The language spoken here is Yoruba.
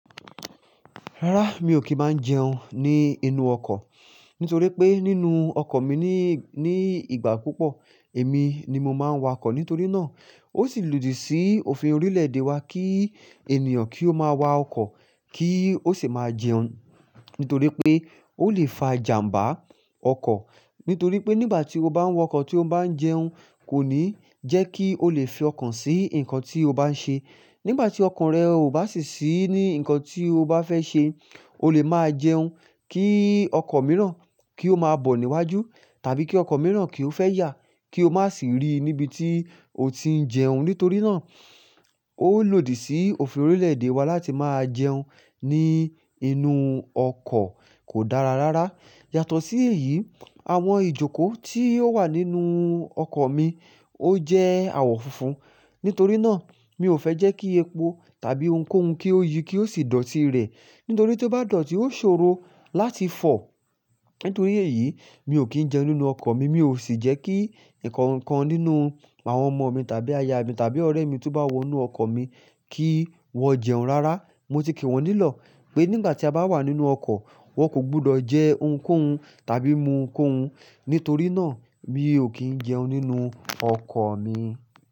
Rárá, mi ò kì í máa n jẹun ní inú ọkọ̀ nítorí pé nínú ọkọ̀ mi ní, ní ìgbà púpọ̀ èmi ni mo máa ń wa ọkọ̀. Nítorí náà ó sì lòdì sí òfin orílẹ̀-èdè wa kí ènìyàn kí ó máa wa ọkọ̀ kí ó sì máa jẹun. Nítorí pé ó lè fa ìjàmbá ọkọ̀. Nítorí pé nígbà tí o bá ń wa ọkọ̀ tí o bá ń jẹun kò ní jẹ́ kí o lè fi ọkàn sí nǹkan tí o bá ń ṣe. Nígbà tí ọkàn rẹ ò bá sì sí ní nǹkan tí o bá fẹ́ ṣe, o lè máa jẹun kí ọkọ̀ mìíràn kí ó máa bọ̀ níwájú tàbí kí ọkọ̀ mìíràn kí ó fẹ́ yà kí o má sì rí níbi tí o ti ń jẹun. Nítorí náà ó lòdì sí òfin orílẹ̀-èdè wa láti máa jẹun ní inú ọkọ̀ kò dára rárá. Yàtọ̀ sí èyí, àwọn ìjókòó tí ó wà nínú ọkọ̀ mi ó jẹ́ àwọ̀ funfun. Nítorí náà mi ò fẹ́ jẹ́ kí epo tàbí ohunkóhun kí ó yi kí ó sì dọ̀tí rẹ̀. Nítorí tí ó bá dọ̀tí, ó ṣòro láti fọ̀. Nítorí èyí mi ò kí ń jẹun nínú ọkọ̀ mi, mi ò sì jẹ́ kí ǹkan kan nínú àwọn ọmọ mi tàbí aya mi tàbí ọ̀rẹ́ mi tí ó bá wọ inú ọkọ̀ mi kí wọ́n jẹun rárá. Mo ti kí wọn nílọ̀ pé nígbà tí a bá wà nínú ọkọ̀, wọn kò gbọdọ̀ jẹ ohunkóhun tàbí mú ohunkóhun. Nítorí náà mi ò kí ń jẹun nínú ọkọ̀ mi.